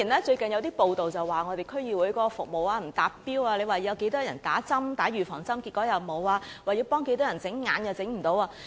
最近有報道指我們區議會的服務不達標，說會為多少人注射預防針，結果沒有；說要向多少人提供眼科服務，結果亦做不到。